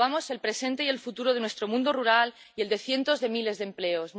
Nos jugamos el presente y el futuro de nuestro mundo rural y el de cientos de miles de empleos.